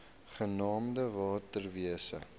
genaamd water wise